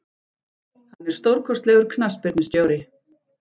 Hann er stórkostlegur knattspyrnustjóri.